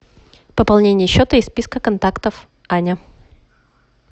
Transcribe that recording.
пополнение счета из списка контактов аня